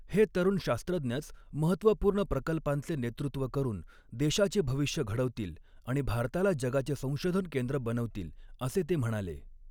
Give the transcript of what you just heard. हे तरुण शास्त्रज्ञच महत्त्वपूर्ण प्रकल्पांचे नेतृत्व करून देशाचे भविष्य घडवतील आणि भारताला जगाचे संशोधन केंद्र बनवतील, असे ते म्हणाले.